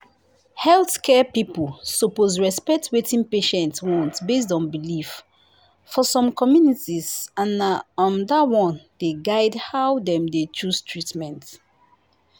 healthcare people suppose respect wetin patients want based on belief um for some communities and na um that one dey guide how dem dey choose treatment